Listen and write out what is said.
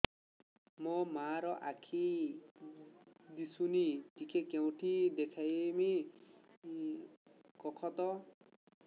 ମୋ ମା ର ଆଖି କି ଦିସୁନି ଟିକେ କେଉଁଠି ଦେଖେଇମି କଖତ